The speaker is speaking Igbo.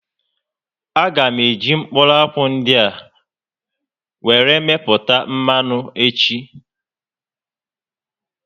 A gá eji mkpụrụ akwụ ndị a were mepụta mmanụ echi